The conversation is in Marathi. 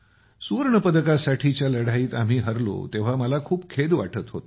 सुवर्ण पदकासाठीच्या लढाईत आम्ही हरलो तेव्हा मला खूप खेद वाटत होता